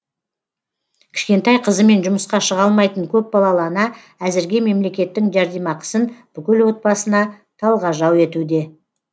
кішкентай қызымен жұмысқа шыға алмайтын көпбалалы ана әзірге мемлекеттің жәрдемақысын бүкіл отбасына талғажау етуде